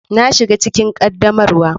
Na shiga cikin ƙaddamarwa.